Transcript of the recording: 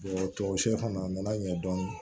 tɔ si fana a nana ɲɛ dɔn